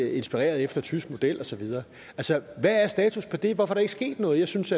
inspireret af tysk model og så videre altså hvad er status på det hvorfor er der ikke sket noget jeg synes